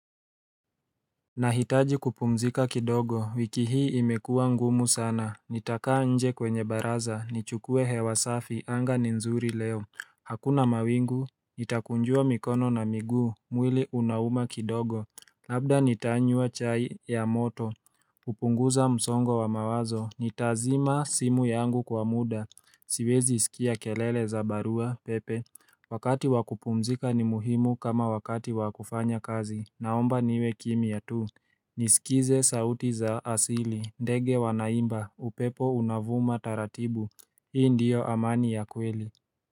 Ninahitaji kupumzika kidogo. Wiki hii imekua ngumu sana. Nitakaa nje kwenye baraza, nichukue hewa safi. Anga ni nzuri leo. Hakuna mawingu nitakunjua mikono na miguu mwili unauma kidogo. Labda nitanywa chai ya moto. Kupunguza msongo wa mawazo, nitazima simu yangu kwa muda. Siwezi sikia kelele za barua pepe. Wakati wa kupumzika ni muhimu kama wakati wa kufanya kazi. Naomba niwe kimia tu. Nisikize sauti za asili. Ndege wanaimba, upepo unavuma taratibu. Hii ndio amani ya kweli.